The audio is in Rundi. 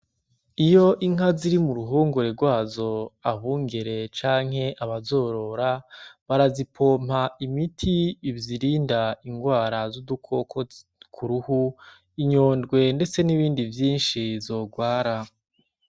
Iyo inka ziri mu ruhongore rwazo, abungere canke abazorora barazipompa imiti izirinda ingwara z'udukoko ku ruhu, inyodwe ndetse n'ibindi vyinshi zorwara.